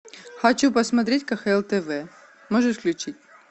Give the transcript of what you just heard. хочу посмотреть кхл тв можешь включить